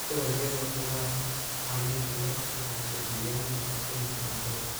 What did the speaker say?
Dalagyada khudaarta caleenta leh waxay kordhiyaan nafaqooyinka cuntada.